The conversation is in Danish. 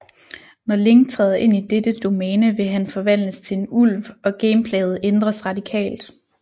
Når Link træder ind i dette domæne vil han forvandles til en ulv og gameplayet ændres radikalt